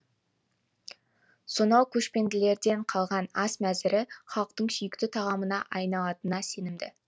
сонау көшпенділерден қалған ас мәзірі халықтың сүйікті тағамына айналатынына сенімді